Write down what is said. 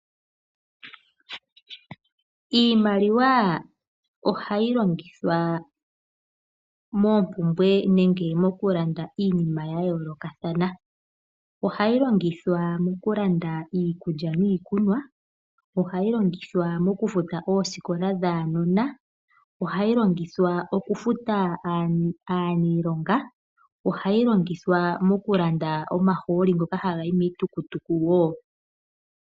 Iimaliwa ohai longithwa moompumbwe nenge mokulanda iinima ya yoolokathana, ohayi longithwa mokulanda iikulya niikunwa, ohayi longithwa mokufuta oosikola dhaanona. Ohayi longithwa okufuta aaniilonga, ohayi longithwa mokulanda omahooli ngoka haga yi miitukutuku wo.